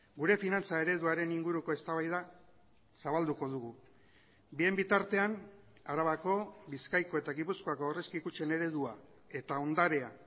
gure finantza ereduaren inguruko eztabaida zabalduko dugu bien bitartean arabako bizkaiko eta gipuzkoako aurrezki kutxen eredua eta ondarea